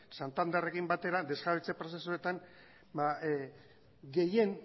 santanderrekin batera desjabetze prozesuetan gehien